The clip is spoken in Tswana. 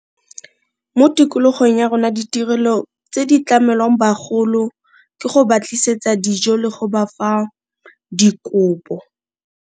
Mo tikologong ya rona ditirelo tse di tlamelwang bagolo ke go ba tlisetsa dijo le go ba fa dikopo.